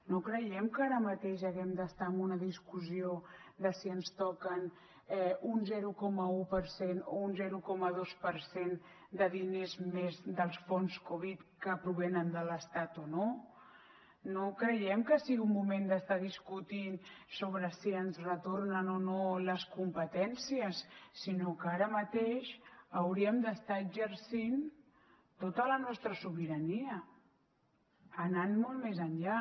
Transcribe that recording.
no creiem que ara mateix haguem d’estar en una discussió de si ens toquen un zero coma un per cent o un zero coma dos per cent de diners més dels fons covid que provenen de l’estat o no no creiem que sigui un moment d’estar discutint sobre si ens retornen o no les competències sinó que ara mateix hauríem d’estar exercint tota la nostra sobirania anant molt més enllà